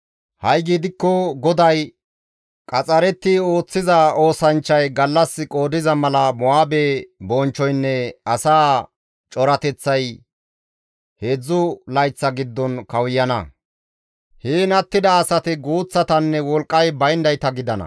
Ha7i gidikko GODAY, qaxxaretti ooththiza oosanchchay gallas qoodiza mala Mo7aabe bonchchoynne asaa corateththay heedzdzu layththa giddon kawuyana; heen attida asati guuththatanne wolqqay bayndayta gidana.